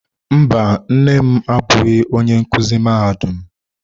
Mba, nne m abụghị onye nkuzi mahadum.